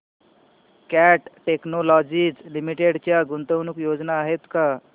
cat Technologies Limited च्या गुंतवणूक योजना आहेत का